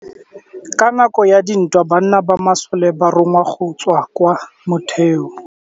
Ka nakô ya dintwa banna ba masole ba rongwa go tswa kwa mothêô.